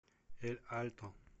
эль альто